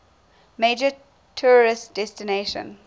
major tourist destination